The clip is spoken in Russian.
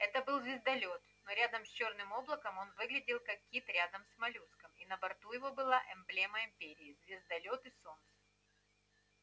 это был звездолёт но рядом с чёрным облаком он выглядел как кит рядом с моллюском и на борту его была эмблема империи звездолёт и солнце